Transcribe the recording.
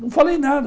Não falei nada.